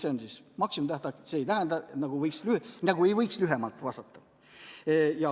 See on maksimumtähtaeg, see ei tähenda, et ei võiks kiiremini vastata.